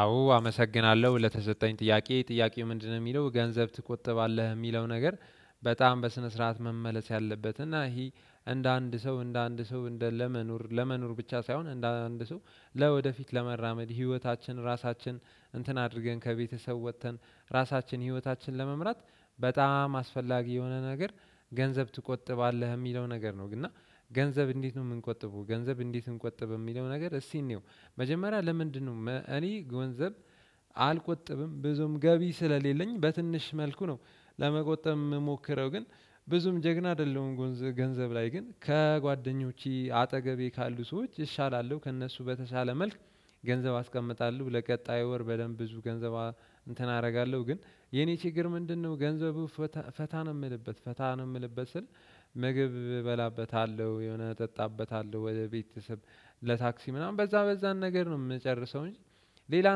አዎ አመሰግናለሁ ለተሰጠኝ ጥያቄ ጥያቄው ምንድነው? የሚለው ገንዘብ ትቆጥባለህ የሚለው ነገር በጣም በስነ ስርዓት መመለስ ያለበት እና ይሄ እንደ አንድ ሰው እንደ አንድ ሰው እንደ ለመኖር ለመኖር ብቻ ሳይሆን እንደ አንድ ሰው ለወደፊት ለመራመድ ህይወታችን ራሳችን እንትን አድርገን ከቤተሰብ ወጥተን ራሳችን ህይወታችን ለመምራት በጣም አስፈላጊ የሆነ ነገር ገንዘብ ትቆጥባለህ የሚለው ነገር ነው። እና ገንዘብ እንዴት ነው የምንቆጥበው ገንዘብ እንዴት እንቆጥብ የሚለው ነገር እስኪ እንየው። መጀመሪያ ለምንድነው እኔ ገንዘብ አልቆጥብም ብዙም ገቢ ስለሌለኝ በትንሽ መልኩ ነው። ለመቆጠብ ምሞከረው ግን ብዙም ጀግና አይደለሁም። ገንዘብ ላይ ግን ከጓደኞቼ አጠገቤ ካሉ ሰዎች እሻላለሁ ከእነሱ በተሻለ መልኩ። ገንዘብ አስቀምጣለሁ ለቀጣዩ ወር በደንብ ብዙ ገንዘብ እንትን አደርጋለሁ። ግን የኔ ችግር ምንድነው? ገንዘብን ፈታ ነው የምልበት ፈታ ነው የምልበት ስል ምግብ እበላበታለሁ የሆነ እጠጣበታለሁ ወደ ቤተሰብ ለታክሲ ምናምን በዛ በዛን ነገር ነው የምጨርሰው። እንጂ ሌላ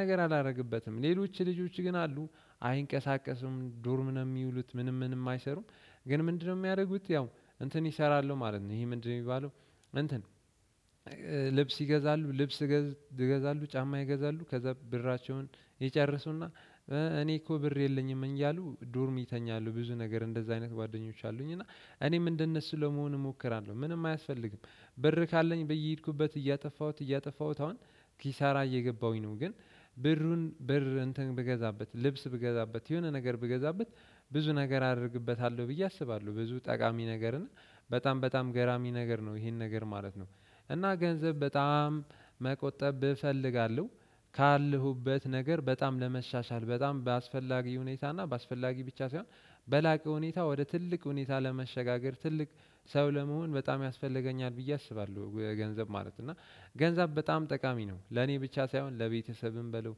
ነገር አላደርግበትም። ሌሎች ልጆች ግን አሉ አይንቀሳቀሱም ዶርም ነው የሚውሉት ምንም ምንም አይሰሩም። ግን ምንድነው የሚያደርጉት? ያው እንትን የሰራሉ ማለት ነው ይሄ ምንድነው የሚባለው? እንትን ልብስ ይገዛሉ ልብስ ይገዛሉ ጫማ ይገዛሉ ከዛ ብራቸውን ይጨርሱና እኔ እኮ ብር የለኝም እያሉ ዶርም ይተኛሉ ብዙ ነገር እንደዛ አይነት ጓደኞች አሉኝ። እና እኔም እንደነሱ ለመሆን እሞክራለሁ ምንም አያስፈልግም። ብር ካለኝ በየሄድኩበት እያጠፋሁት እያጠፋሁት አሁን ኪሳራ እየገባሁኝ ነው። ግን ብሩን ብር እንትን ብገዛበት ልብስ ብገዛበት የሆነ ነገር ብገዛበት ብዙ ነገር አደርግበታለሁ ብዬ አስባለሁ ብዙ ጠቃሚ ነገርን በጣም በጣም ገራሚ ነገር ነው። ይሄን ነገር ማለት ነው። እና ገንዘብ በጣም መቆጠብ እፈልጋለሁ። ካለሁበት ነገር በጣም ለመሻሻል በጣም በአስፈላጊ ሁኔታ እና በአስፈላጊ ብቻ ሳይሆን በላቀ ሁኔታ ወደ ትልቅ ሁኔታ ለመሸጋገር ትልቅ ሰው ለመሆን በጣም ያስፈልገኛል ብዬ አስባለሁ ገንዘብ ማለት ነው። እና ገንዘብ በጣም ጠቃሚ ነው። ለኔ ብቻ ሳይሆን ለቤተሰብም በለው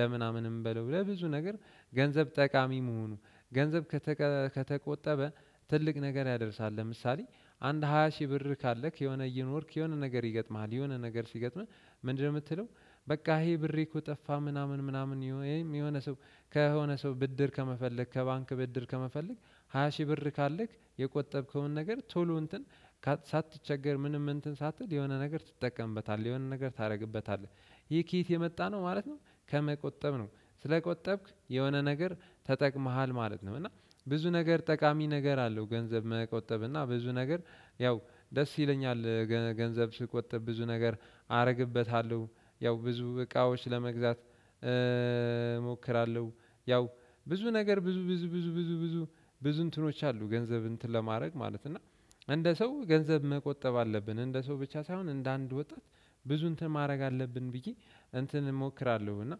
ለምናምንም በለው ለብዙ ነገር ገንዘብ ጠቃሚ መሆኑ ገንዘብ ከተቆጠበ ትልቅ ነገር ያደርሳል። ለምሳሌ አንድ ሃያ ሺህ ብር ካለክ የሆነ እየኖርክ የሆነ ነገር ይገጥምሃል። የሆነ ነገር ሲገጥምህ ምንድነው የምትለው? በቃ ይሄ ብሬ እኮ ጠፋ ምናምን ምናምን የሆነ ሰው ከሆነ ሰው ብድር ከመፈለግ ከባንክ ብድር ከመፈለግ ሃያ ሺህ ብር ካለክ የቆጠብከውን ነገር ቶሎ እንትን ሳትቸገር ምንም እንትን ሳትል የሆነ ነገር ትጠቀምበታለህ። የሆነ ነገር ታደርግበታለህ። ይህ ከየት የመጣ ነው ማለት ነው። ከመቆጠብ ነው ስለቆጠብክ የሆነ ነገር ተጠቅመሃል ማለት ነው። እና ብዙ ነገር ጠቃሚ ነገር አለው። ገንዘብ መቆጠብ እና ብዙ ነገር ያው ደስ ይለኛል ገንዘብ ስቆጥብ ብዙ ነገር አደርግበታለሁ። ያው ብዙ እቃዎች ለመግዛት እሞክራለሁ። ያው ብዙ ነገር ብዙ ብዙ ብዙ ብዙ ብዙ ብዙ ብዙ እንትኖች አሉ ገንዘብ እንትን ለማድረግ ማለት ነው። እና እንደ ሰው ገንዘብ መቆጠብ አለብን እንደ ሰው ብቻ ሳይሆን እንደ አንድ ወጣት ብዙ እንትን ማድረግ አለብን። ብዬ እንትን እሞክራለሁ እና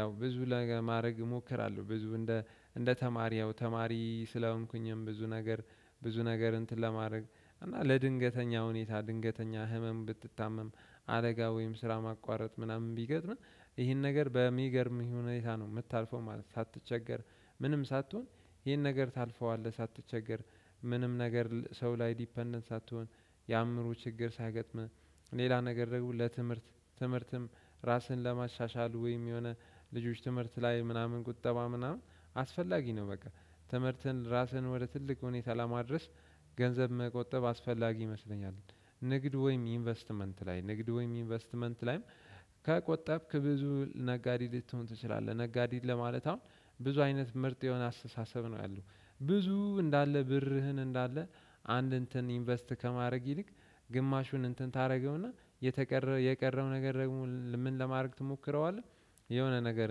ያው ብዙ ነገር ማድረግ እሞክራለሁ። ብዙ እንደ እንደ ተማሪ ያው ተማሪ ስለሆንኩኝም ብዙ ነገር ብዙ ነገር እንትን ለማድረግ እና ለድንገተኛ ሁኔታ ድንገተኛ ህመም ብትታመም አደጋ ወይም ስራ ማቋረጥ ምናምን ቢገጥምህ ይህን ነገር በሚገርምህ ሁኔታ ነው የምታልፈው ማለት ነው። ሳትቸገር ምንም ሳትሆን ይሄን ነገር ታልፈዋለህ። ሳትቸገር ምንም ነገር ሰው ላይ ዲፔንደንት ሳትሆን። የአእምሮ ችግር ሳይገጥምህ ሌላ ነገር ደግሞ ለትምህርት ትምህርትም ራስህን ለማሻሻል ወይም የሆነ ልጆች ትምህርት ላይ ምናምን ቁጠባ ምናምን አስፈላጊ ነው። በቃ ትምህርትን ራስህን ወደ ትልቅ ሁኔታ ላማድረስ ገንዘብ መቆጠብ አስፈላጊ ይመስለኛል። ንግድ ወይም ኢንቨስትመንት ላይ ንግድ ወይም ኢንቨስትመንት ላይ ከቆጠብክ ብዙ ነጋዴ ልትሆን ትችላለህ። ነጋዴ ለማለት አሁን ብዙ አይነት ምርጥ የሆነ አስተሳሰብ ነው ያለው። ብዙ እንዳለ ብርህን እንዳለ አንድ እንትን ኢንቨስት ከማድረግ ይልቅ ግማሹን እንትን ታደርገውና የተቀረው የቀረው ነገር ደግሞ ምን ለማድረግ ትሞክረዋለህ የሆነ ነገር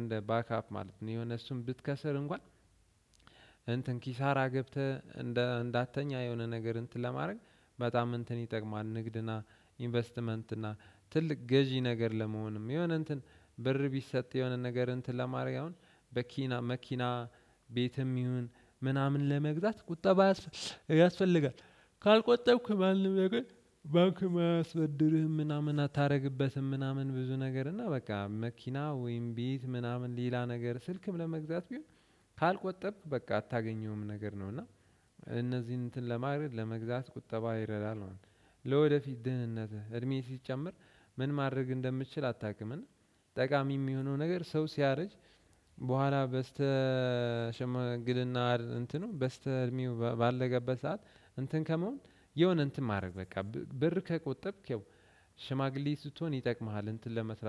እንደ ባክአፕ ማለት ነው። የሆነ እሱን ብትከስር እንኳን እንትን ኪሳራ ገብተህ እንደ እንዳተኛ የሆነ ነገር እንትን ለማድረግ በጣም እንትን ይጠቅማል። ንግድና ኢንቨስትመንትና እና ትልቅ ገዢ ነገር ለመሆንም የሆነ እንትን ብር ቢሰጥ የሆነ ነገር እንትን ለማረግ አሁን በኪና መኪና ቤትም ይሁን ምናምን ለመግዛት ቁጠባ ያስፈልጋል። ካልቆጠብኩ ማንም ነገር ባንክ መስበድርህም ምናምን አታደርግበትም። ምናምን ብዙ ነገር እና በቃ መኪና ወይም ቤት ምናምን ሌላ ነገር ስልክም ለመግዛት ቢሆን ካልቆጠብክ በቃ አታገኘውም ነገር ነው። እና እነዚህን እንትን ለማድረግ ለመግዛት ቁጠባ ይረዳል ማለት ነው። ለወደፊት ድህነትህ እድሜ ሲጨምር ምን ማድረግ እንደምችል አታቅም። ጠቃሚ የሚሆነው ነገር ሰው ሲያረጅ በኋላ በስተ ሽምግሌና እንትኑ በስተ እድሜው ባለቀበት ሰዓት እንትን ከመሆን የሆነ እንትን ማድረግ በቃ ብር ከቆጠብክ ያው ሽማግሌ ስትሆን ይጠቅምሃል። እንትን ለመስራት